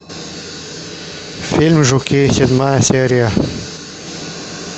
фильм жуки седьмая серия